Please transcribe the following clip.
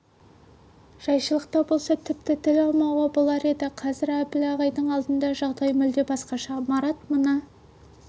жайшылықта болса тіпті тіл алмауға болар еді қазір әбіл ағайдың алдында жағдай мүлде басқаша марат мына